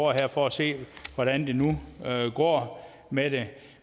for at se hvordan det nu går med det